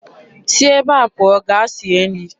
Si ebe a pụọ gaa sie nri!